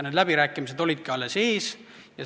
Need läbirääkimised olidki alles ees.